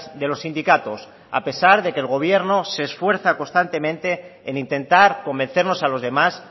de los sindicatos a pesar de que el gobierno se esfuerza constantemente en intentar convencernos a los demás